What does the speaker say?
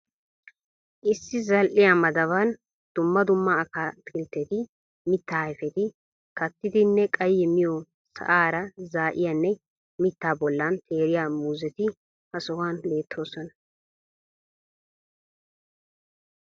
Issi zal'iya madabani dumma dumma ataakkiltteti, mittaa ayfeti kaattidinne qayye miyoo sa'aara za'iyanne mittaa bollan teeriyaa muuzetti ha sohuwan beettoosona.